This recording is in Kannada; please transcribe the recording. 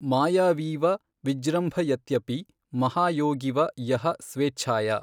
ಮಾಯಾವೀವ ವಿಜೃಂಭಯತ್ಯಪಿ ಮಹಾಯೋಗೀವ ಯಃ ಸ್ವೇಚ್ಛಯಾ